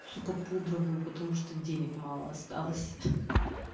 сука пудровую потому что денег мало осталось